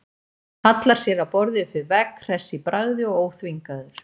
Hallar sér að borði upp við vegg, hress í bragði og óþvingaður.